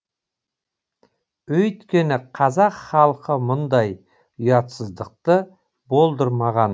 өйткені қазақ халқы мұндай ұятсыздықты болдырмаған